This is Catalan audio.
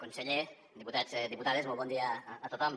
conseller diputats diputades molt bon dia a tothom